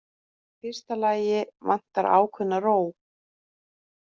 Í fyrsta lagi vantar ákveðna ró.